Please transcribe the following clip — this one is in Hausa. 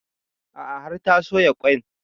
A'a har ta soya ƙwain